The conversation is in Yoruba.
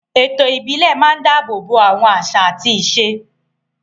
Ètò ìbílẹ̀ máa ń dáàbò bo àwọn àṣà àti ìṣe.